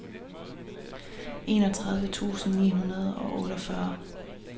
enogtredive tusind ni hundrede og otteogfyrre